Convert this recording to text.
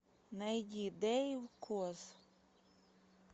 найди дэйв коз